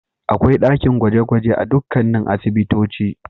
Akwai dakin gwaje-gwaje a dukkanin asibitoci.